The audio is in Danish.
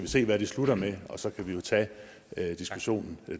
se hvad de slutter med og så kan vi tage diskussionen